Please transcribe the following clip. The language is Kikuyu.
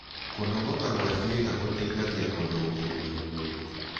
Kũnogoka gwa ciĩga gũteĩthagĩa kũrũngĩrĩrĩa mwĩrĩ